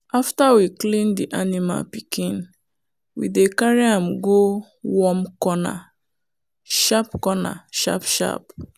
after we clean the animal pikin we dey carry am go warm corner sharp corner sharp sharp.